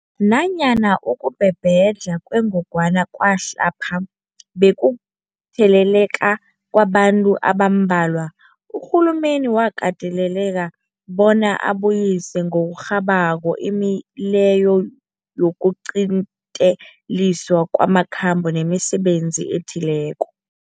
Nanyana ukubhebhedlha kwengogwana kwamhlapha bekukutheleleka kwabantu abambalwa, urhulumende wakateleleka bona abuyise ngokurhabako imileyo yokuqinteliswa kwamakhambo nemisebenzi ethileko.